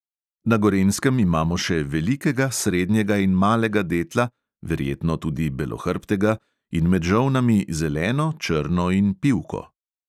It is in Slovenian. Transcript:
Na gorenjskem imamo še velikega, srednjega in malega detla, verjetno tudi belohrbtega, in med žolnami zeleno, črno in pivko.